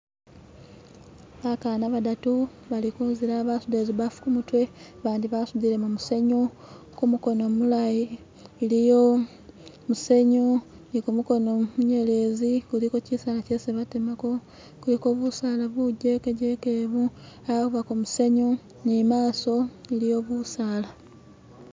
Bakana badatu bali kunzila basudile zibaafu kumutwe bandi basutile musenyu kumukono mulayi iliyo musenyu ni kumukono munyeleze kuliko kisaala kyebatemako kuliko busala bujeke jeke obu, abako musenyu ni maso iliyo busaala.